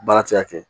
Baara ti se ka kɛ